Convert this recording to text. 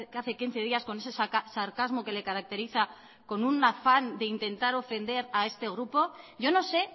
hace quince días con ese sarcasmo que le caracteriza con un afán de intentar ofender a este grupo yo no sé